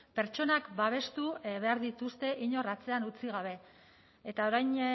pertsonak babestu behar dituzte inor atzean utzi gabe eta orain